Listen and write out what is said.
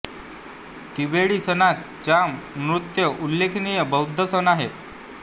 तिबेटी सणांत चाम नृत्य उल्लेखनीय बौद्ध सण आहे